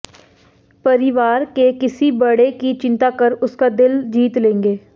परिवार के किसी बड़े की चिंता कर उसका दिल जीत लेंगे